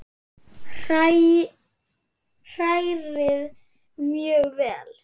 Hrærið mjög vel.